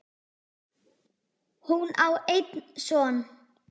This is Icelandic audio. Hún á einn son.